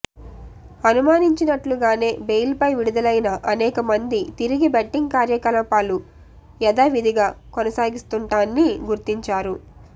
అనుమానించినట్లుగానే bail పై విడుదలైన అనేక మంది తిరిగి బెట్టింగ్ కార్యకలాపాలు యధావిధిగా కొనసాగిస్తుంటాన్ని గుర్తించారు